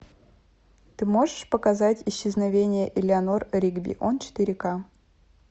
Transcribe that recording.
ты можешь показать исчезновение элеанор ригби он четыре к